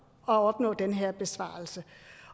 at opnå den her besparelse